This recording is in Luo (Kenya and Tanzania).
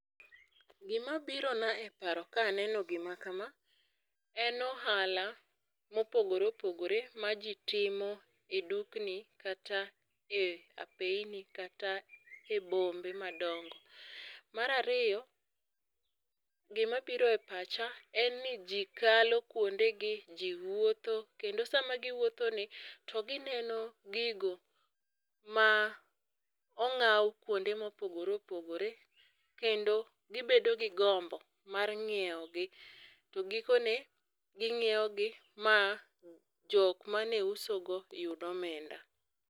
gima biro na e paro kaneno gima kama en ohala mopogore opogore maji timo e dukni kata e apeini kata e bombe madongo. Mar ariyo, gima biro e pacha en ni jii kalo kuonde gi, jii wuotho kendo sama giwuotho ni to gineno gigo ma ong'aw kuonde mopogore opogore kendo gibedo gi gombo mar ng'iewogi to gikone ging'iewogi ma jok mane uso go yud omenda.